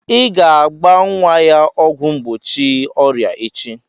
Ị ga-agba nwa ya ọgwụ mgbochi ọrịa echi!